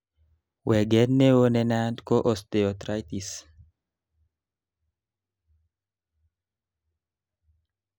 weget neo nenaat ko osteoarthritis